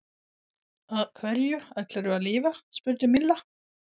Á hverju ætlarðu að lifa? spurði Milla.